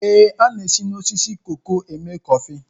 Ee, a na-esi na osisi koko eme kọfị